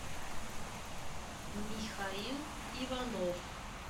михаил иванов